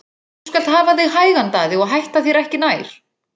Þú skalt hafa þig hægan Daði og hætta þér ekki nær!